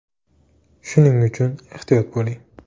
Shuning uchun ehtiyot bo‘ling.